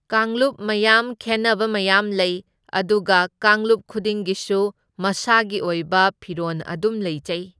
ꯀꯥꯡꯂꯨꯞ ꯃꯌꯥꯝ ꯈꯦꯟꯅꯕ ꯃꯌꯥꯝ ꯂꯩ, ꯑꯗꯨꯒ ꯀꯥꯡꯂꯨꯞ ꯈꯨꯗꯤꯡꯒꯤꯁꯨ ꯃꯁꯥꯒꯤ ꯑꯣꯏꯕ ꯐꯤꯔꯣꯟ ꯑꯗꯨꯝ ꯂꯩꯖꯩ꯫